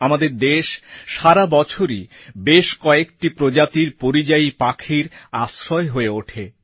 আমাদের দেশ সারা বছরই বেশ কয়েকটি প্রজাতির পরিযায়ী পাখির আশ্রয় হয়ে ওঠে